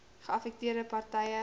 geaffekteerde par tye